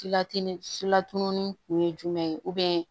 Silatununi kun ye jumɛn ye